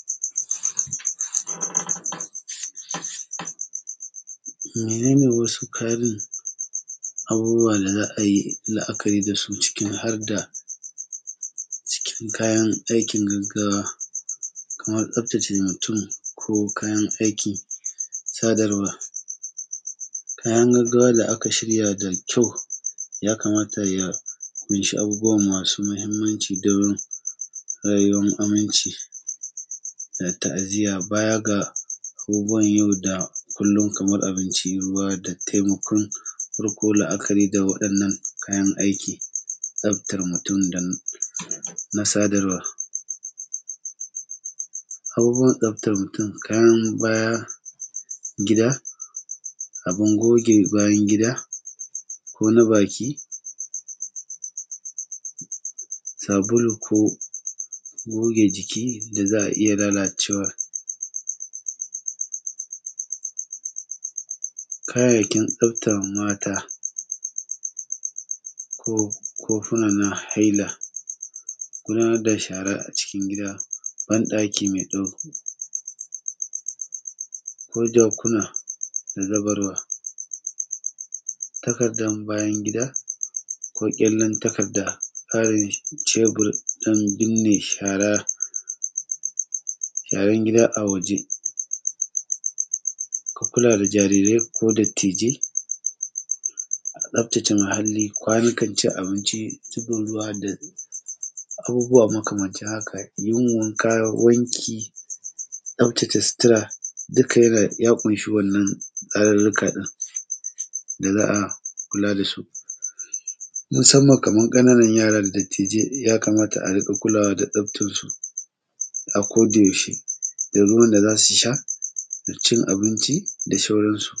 Menene wasu ƙarin abubuwa da za a yi la'akari da su ciki harda cikin kayan aikin gaggawa kaman tsaftace mutum, ko kayan aikin sadarwa, kayan gaggawa da aka shirya da kyau, ya kamata ya ƙunshi abubuwa masu muhimmanci don rayuwan aminci da ta'aziya. Baya ga abubuwan yau da kullum, kamar abinci, ruwa, da taimakon farko. La'akari da waɗannan kayan aiki, tsaftar mutum don na sadarwa abubuwan tsaftar mutum kayan baya gida, abun goge bayan gida, ko na baki, sabulu, ko goge jiki da za a iya lalacewa. Kayayyakin tsaftar mata, kofuna na haila, kula da shara a cikin gida, ban ɗaki mai tsaho ko jarkuna na zuba ruwa, takardan bayan gida, ko ƙyallen takarda tsarin cebur ɗin birne shara sharan gida a waje. Ku kula da jarirai ko dattijai a tsaftace muhalli, kwanukan cin abinci, zuba ruwa da abubuwa makamancin haka yin wanka, wanki, tsaftace sutura, duka ya kunshi wannan tsarurruka ɗin da za a kula da su. Musamman kaman ƙananan yara da dattijai ya kamata a rinƙa kulawa da tsaftar su a koda yaushe da ruwan da zasu sha da cin abinci da sauran su.